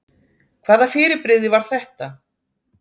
Hvaða fyrirbrigði var þetta?